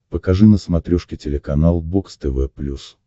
покажи на смотрешке телеканал бокс тв плюс